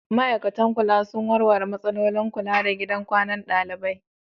Ma'aikatan kula sun warware matsalolin kula da gidan kwanan ɗalibai?